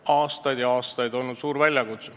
Aastaid ja aastaid on see olnud suur väljakutse.